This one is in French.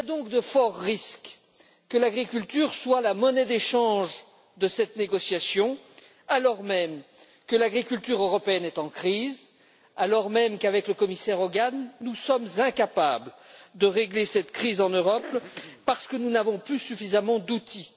De forts risques pèsent donc sur l'agriculture comme monnaie d'échange de cette négociation, alors même que l'agriculture européenne est en crise, alors même qu'avec le commissaire Hogan, nous sommes incapables de régler cette crise en Europe parce que nous n'avons plus suffisamment d'outils.